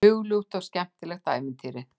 Hugljúft og skemmtilegt ævintýri.